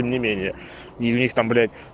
тем не менее и у них там блять